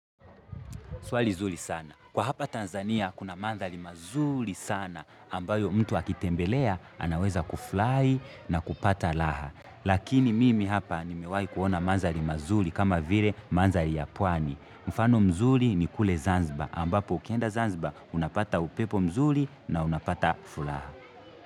Swali zuri sana. Kwa hapa Tanzania kuna mandhari mazuri sana ambayo mtu akitembelea anaweza kufurahi na kupata raha. Lakini mimi hapa ni mewahi kuona mandhari mazuri kama vile mandhari ya pwani. Mfano mzuri ni kule Zanzibar ambapo ukienda Zanzibar unapata upepo mzuri na unapata furaha.